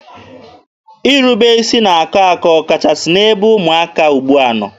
Irube isi na-akọ akọ ọkachasị n'ebe ụmụaka ugbua nọ.